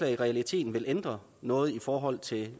i realiteten ville ændre noget i forhold til